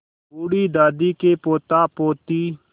बूढ़ी दादी के पोतापोती